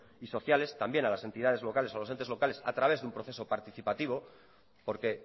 y sociales también a las entidades locales o a los entes locales a través de un progreso participativo porque